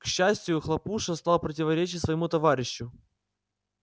к счастию хлопуша стал противоречить своему товарищу